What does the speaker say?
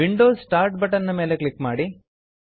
Windows start button ನ ಮೇಲೆ click ಮಾಡಿ